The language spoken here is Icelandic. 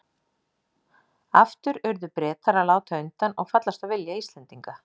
Aftur urðu Bretar að láta undan og fallast á vilja Íslendinga.